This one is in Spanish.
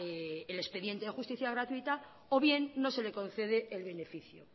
el expediente de justicia gratuita o bien no se le concede el beneficio